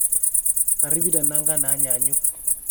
Kiripita nangan naanyunyuk